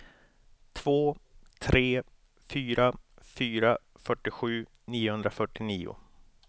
två tre fyra fyra fyrtiosju niohundrafyrtionio